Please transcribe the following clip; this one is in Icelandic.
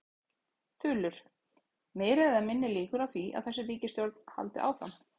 Þulur: Meiri eða minni líkur á því að þessi ríkisstjórn haldi áfram?